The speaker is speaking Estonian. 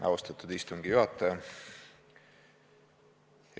Austatud istungi juhataja!